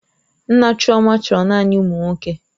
Nna chioma chọrọ naanị ụmụ nwoke